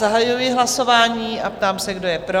Zahajuji hlasování a ptám se, kdo je pro?